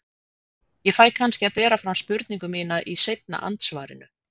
Ég fæ kannski að bera fram spurningu mína í seinna andsvarinu.